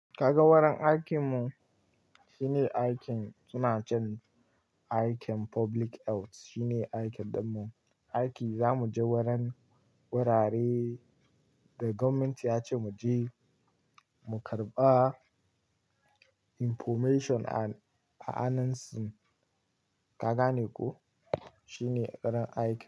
Ka ga wurin aikinmu? Shine aikin suna cewa aikin public health shine aikin ɗanmu. Aiki zamu je wurin wurare da government ya ce mu je mu karɓa information a hanun su. Ka ga ne ko? Shine ƙarin aikin.